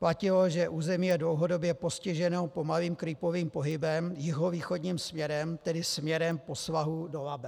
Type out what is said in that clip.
Platilo, že území je dlouhodobě postiženo pomalým creepovým pohybem jihovýchodním směrem, tedy směrem po svahu do Labe.